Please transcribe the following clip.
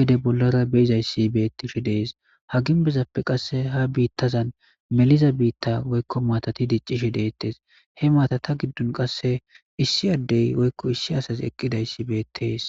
gede bollara beizayssi bettishi dees ha ginbezappe qasse ha biittazan meliza biitta woykko maatati diccishi deettes he maatata giddun qasse issi addey woykko issi asas eqqidayssi beettees